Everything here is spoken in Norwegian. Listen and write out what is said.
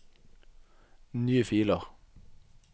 nye filer